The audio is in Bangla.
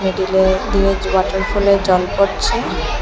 মিডিলে দিয়ে জো ওয়াটারফলের জল পড়ছে।